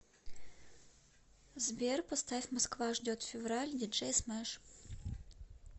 сбер поставь москва ждет февраль диджей смэш